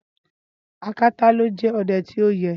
Ákátá ló jẹ́ ọdẹ ti oye.